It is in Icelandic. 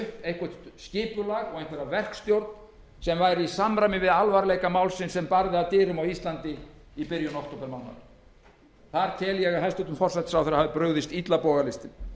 eitthvert skipulag og einhverja verkstjórn sem væri í samræmi við alvarleika málsins sem barði að dyrum á íslandi í byrjun októbermánaðar þar tel ég að hæstvirtur forsætisráðherra hafi brugðist illa bogalistin